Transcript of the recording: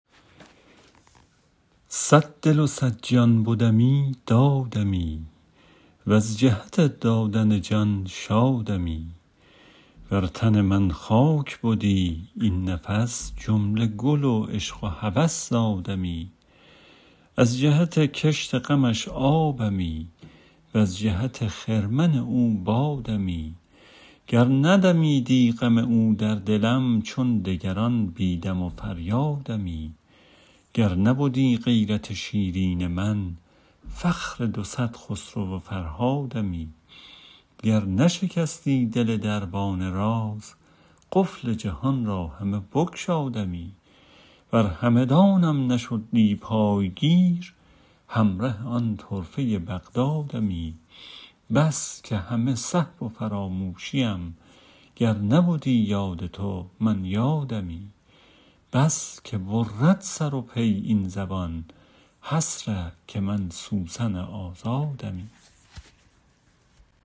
صد دل و صد جان بدمی دادمی وز جهت دادن جان شادمی ور تن من خاک بدی این نفس جمله گل و عشق و هوس زادمی از جهت کشت غمش آبمی وز جهت خرمن او بادمی گر ندمیدی غم او در دلم چون دگران بی دم و فریادمی گر نبدی غیرت شیرین من فخر دو صد خسرو و فرهادمی گر نشکستی دل دربان راز قفل جهان را همه بگشادمی ور همدانم نشدی پای گیر همره آن طرفه بغدادمی بس که همه سهو و فراموشیم گر نبدی یاد تو من یادمی بس که برد سر و پی این زبان حسره که من سوسن آزادمی